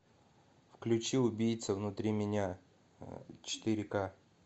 включи убийца внутри меня четыре ка